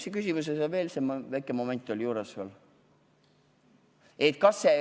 Su küsimusel oli veel üks väike moment juures, mis see oligi?